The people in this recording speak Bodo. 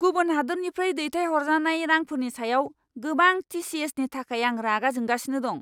गुबुन हादोरनिफ्राय दैथायहरजानाय रांफोरनि सायाव गोबां टि.सि.एस.नि थाखाय आं रागा जोंगासिनो दं।